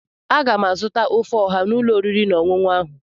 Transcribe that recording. Aga m azụta ofe ọha n'ụlọ oriri na ọṅụṅụ ahụ.